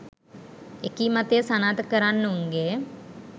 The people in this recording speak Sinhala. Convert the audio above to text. එකී මතය සනාථ කරන්නවුන්ගේ